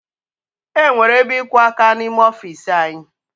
E nwere ebe ịkwọ áká n'ime ọfiisi anyị